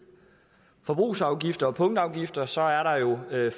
forbrugsafgifter og punktafgifter så er der jo